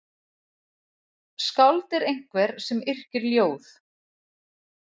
Skáld er einhver sem yrkir ljóð.